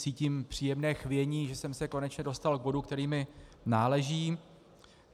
Cítím příjemné chvění, že jsem se konečně dostal k bodu, který mi náleží.